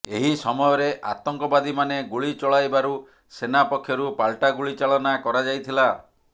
ଏହି ସମୟରେ ଆତଙ୍କବାଦୀମାନେ ଗୁଳି ଚଳାଇବାରୁ ସେନା ପକ୍ଷରୁ ପାଲଟା ଗୁଳି ଚାଳନା କରାଯାଇଥିଲା